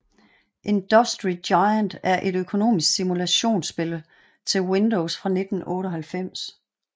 Industry Giant er et økonomisk simulationsspil til Windows fra 1998